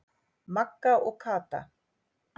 Magga og Kata.